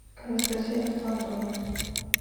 анастасия александровна